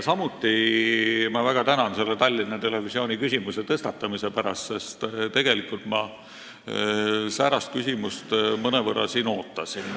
Samuti ma väga tänan Tallinna Televisiooni küsimuse tõstatamise eest, sest tegelikult ma säärast küsimust mõnevõrra siin ootasin.